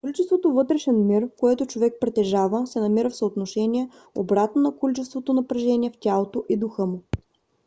количеството вътрешен мир което човек притежава се намира в съотношение обратно на количеството напрежение в тялото и духа му